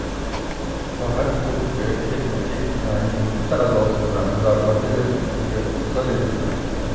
Faqat to‘pga ketma-ket tananing bitta a’zosi bilan zarba berilishiga ruxsat etilmaydi.